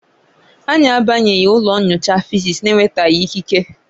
Anyị abanyeghị ụlọ nyocha Fisis na-enwetaghị ikike